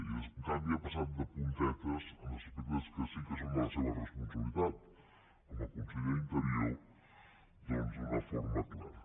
i en canvi ha passat de puntetes en aspectes que sí que són de la seva responsabilitat com a conseller d’interior doncs d’una forma clara